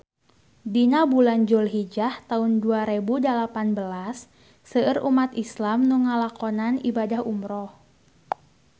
Dina bulan Julhijah taun dua rebu dalapan belas seueur umat islam nu ngalakonan ibadah umrah